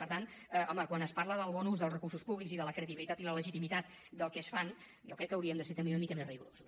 per tant home quan es parla del bon ús dels recursos públics i de la credibilitat i la legitimitat del que es fa jo crec que haurien de ser també una mica més rigorosos